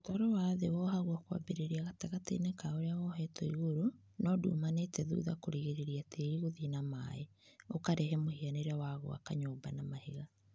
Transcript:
Mũtaro wa thĩ wohagwo kwambĩrĩria gatagatĩinĩ ka ũrĩa wohetwo igũrũ no ndiumanite thutha kũrigĩrĩria tĩĩri gũthiĩ na maaĩ ũkarehe mũhianĩre wa gwaka nyũmba na mahiga